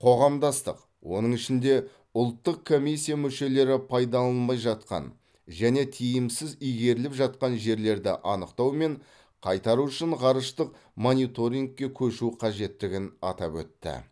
қоғамдастық оның ішінде ұлттық комиссия мүшелері пайдаланылмай жатқан және тиімсіз игеріліп жатқан жерлерді анықтау мен қайтару үшін ғарыштық мониторингке көшу қажеттігін атап өтті